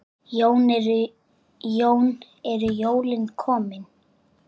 Jón: Eru jólin komin?